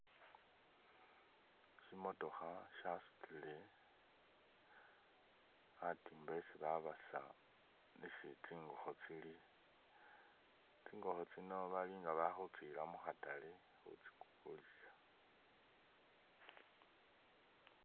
Shimotokha shasutile khatimba isi babasa isi tsingokho tsili, tsingokho tsino bali nga bakhutsila mukhaatale khutsikulisa .